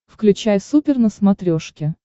включай супер на смотрешке